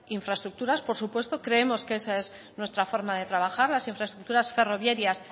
infraestructuras por supuesto creemos que esa es nuestra forma de trabajar las infraestructuras ferroviarias